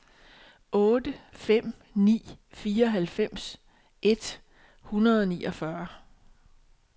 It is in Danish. otte fem ni to fireoghalvfems et hundrede og niogfyrre